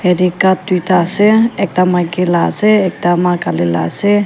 Ethe cup duida ase ekta maiki la ase ekta maa kali la ase.